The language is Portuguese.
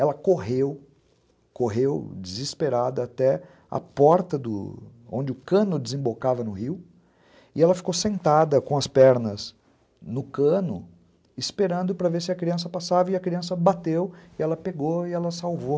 Ela correu, correu desesperada até a porta do onde o cano desembocava no rio e ela ficou sentada com as pernas no cano esperando para ver se a criança passava e a criança bateu e ela pegou e ela salvou.